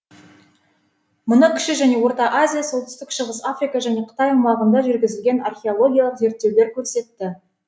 мұны кіші және орта азия солтүстік шығыс африка және қытай аумағында жүргізілген археологиялық зерттеулер көрсетті